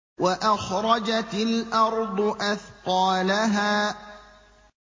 وَأَخْرَجَتِ الْأَرْضُ أَثْقَالَهَا